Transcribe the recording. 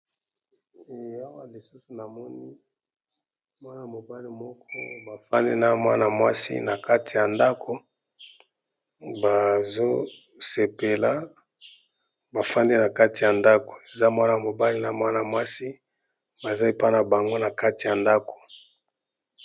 E awa lisusu na moni mwana mobali moko bafandi na mwana mwasi na kati ya ndako bazo sepela bafandi na kati ya ndako eza mwana mobali na mwana mwasi baza mpona bango na kati ya ndako.